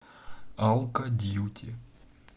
алкодьюти